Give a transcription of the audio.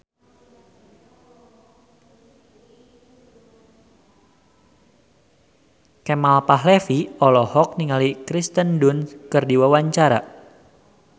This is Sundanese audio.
Kemal Palevi olohok ningali Kirsten Dunst keur diwawancara